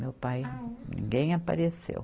Meu pai, ninguém apareceu.